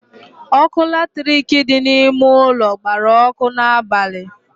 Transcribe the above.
Ọkụ latirik dị n'ime ụlọ gbara ọkụ n'abalị